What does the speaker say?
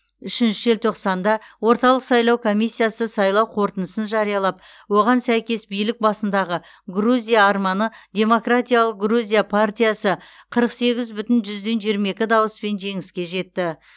үшінші желтоқсанда орталық сайлау комиссиясы сайлау қорытындысын жариялап оған сәйкес билік басындағы грузия арманы демократиялық грузия партиясы қырық сегіз бүтін жүзден жиырма екі дауыспен жеңіске жетті